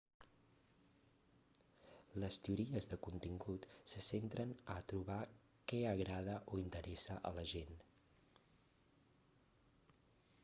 les teories de contingut se centren a trobar què agrada o interessa a la gent